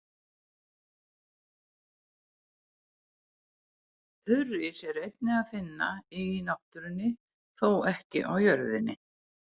Þurrís er einnig að finna í náttúrunni, þó ekki á jörðinni.